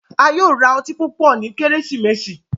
A yóò ra ọti pupọ nyi Kérésìmesì.